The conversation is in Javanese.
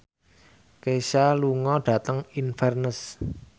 Kesha lunga dhateng Inverness